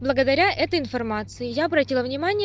благодаря этой информации я обратила внимание